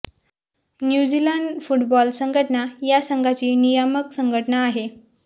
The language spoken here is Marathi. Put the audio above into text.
न्यू झीलँड फुटबॉल संघटना या संघाची नियामक संघटना आहे